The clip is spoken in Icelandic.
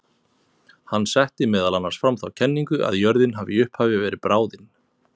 Hann setti meðal annars fram þá kenningu að jörðin hafi í upphafi verið bráðin.